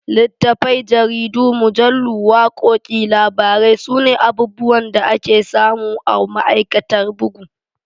Littafai, jaridu, mujallu, wakoki, labarai sune abubuwan da ake samu a ma'aikatar bugu.